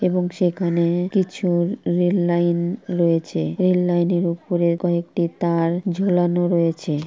এবং সেখানে কিছু রেল লাইন রয়েছে। রেল লাইনের উপরে কয়েকটি তার ঝুলানো রয়েছে।